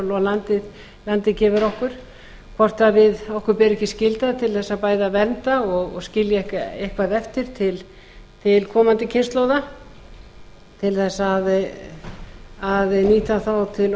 lendi ekki yfir okkur hvort okkur beri ekki skylda til að vernda og skilja eitthvað eftir til komandi kynslóða til að nýta þá til